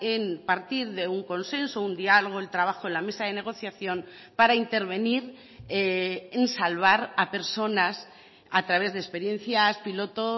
en partir de un consenso un diálogo el trabajo en la mesa de negociación para intervenir en salvar a personas a través de experiencias piloto